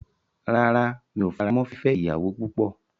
Rárá, mi o faramọ́ fífẹ́ ìyàwó púpọ̀.